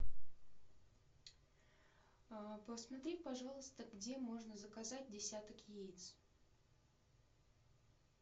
посмотри пожалуйста где можно заказать десяток яиц